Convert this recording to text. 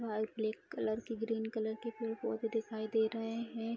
लाल colour की red colour की green colour की फूल-पौधे दिखाई दे रहे हैं।